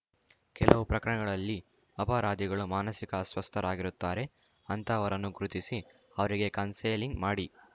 ಕೆಲವು ಪ್ರಕರಣಗಳಲ್ಲಿ ಅಪರಾಧಿಗಳು ಮಾನಸಿಕ ಅಸ್ವಸ್ಥರಾಗಿರುತ್ತಾರೆ ಅಂತಹವರನ್ನು ಗುರುತಿಸಿ ಅವರಿಗೆ ಕನ್ಸೆಲಿಂಗ್‌ ಮಾಡಿ